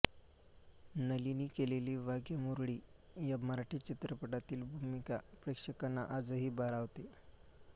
नलिनी केलेली वाघ्यामुरळी या मराठी चित्रपटातील भूमिका प्रेक्षकांना आजही भारावते